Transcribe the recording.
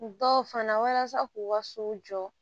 Dɔw fana walasa k'u ka so jɔ